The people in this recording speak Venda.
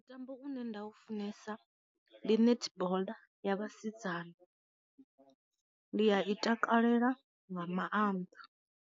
Mutambo une nda u funesa ndi netball ya vhasidzana, ndi a i takalela nga maanḓa.